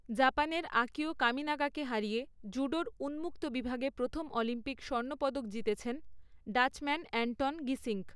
জাপানের আকিও কামিনাগাকে হারিয়ে জুডোর উন্মুক্ত বিভাগে প্রথম অলিম্পিক স্বর্ণপদক জিতেছেন ডাচম্যান অ্যান্টন গিসিঙ্ক।